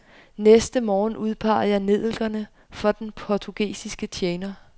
Næste morgen udpegede jeg nellikerne for den portugesiske tjener.